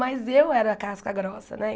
Mas eu era casca grossa, né?